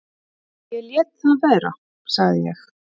"""Ég léti það vera, sagði ég."""